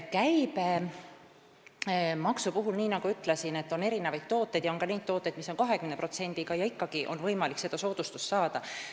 Käibemaksu puhul, nii nagu ma ütlesin, on erinevaid tooteid, st on ka tavatooteid, mis on 20%-ga, aga ikkagi on võimalik abivahendi soodustust saada.